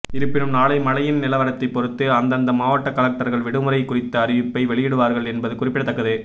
இருப்பினும் நாளை மழையின் நிலவரத்தை பொறுத்து அந்தந்த மாவட்ட கலெக்டர்கள் விடுமுறை குறித்த அறிவிப்பை வெளியிடுவார்கள் என்பது குறிப்பிடத்தக்கது